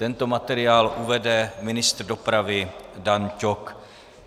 Tento materiál uvede ministr dopravy Dan Ťok.